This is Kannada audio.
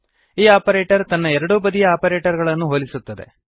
ಈ ಆಪರೇಟರ್ ತನ್ನ ಎರಡೂ ಬದಿಯ ಆಪರೇಟರ್ ಗಳನ್ನು ಹೋಲಿಸುತ್ತದೆ